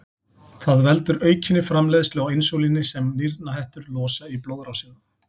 Það veldur aukinni framleiðslu á insúlíni sem nýrnahettur losa í blóðrásina.